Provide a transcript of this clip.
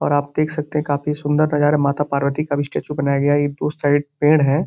और आप देख सकते हैं काफी सुंदर नजारा माता पार्वती का भी स्टैचू बनाया गया है। ये दो साइड पेड़ हैं।